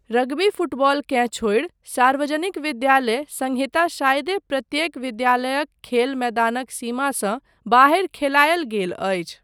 Rugby फुटबॉलकेँ छोड़ि सार्वजनिक विद्यालय संहिता शायदे प्रत्येक विद्यालयक खेल मैदानक सीमासँ बाहरि खेलायल गेल अछि।